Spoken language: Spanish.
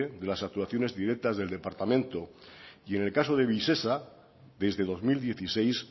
de las actuaciones directas del departamento y en el caso de visesa desde dos mil dieciséis